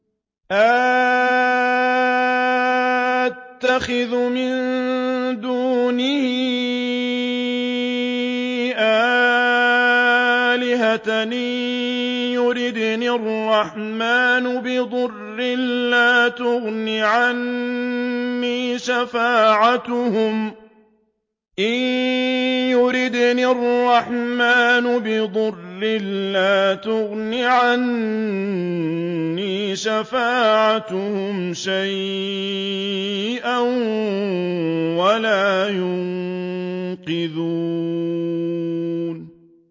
أَأَتَّخِذُ مِن دُونِهِ آلِهَةً إِن يُرِدْنِ الرَّحْمَٰنُ بِضُرٍّ لَّا تُغْنِ عَنِّي شَفَاعَتُهُمْ شَيْئًا وَلَا يُنقِذُونِ